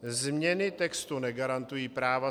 Změny textu negarantují práva